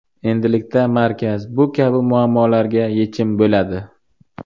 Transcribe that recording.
Endilikda markaz bu kabi muammolarga yechim bo‘ladi.